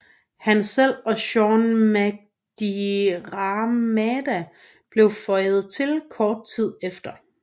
Han selv og Séan Mac Diarmada blev føjet til kort tid efter